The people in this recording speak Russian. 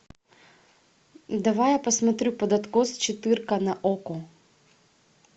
давай я посмотрю под откос четырка на окко